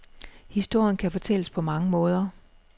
Historien kan fortælles på mange måder.